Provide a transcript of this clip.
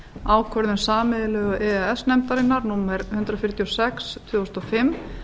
ákvörðun sameiginlegu e e s nefndarinnar númer hundrað fjörutíu og sex tvö þúsund og fimm